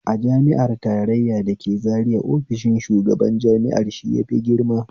A jami'ar tarraya da ke zaria ofishin shugaban jami'ar shi yafi girma